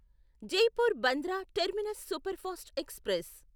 Jaipur Bandra terminus superfast express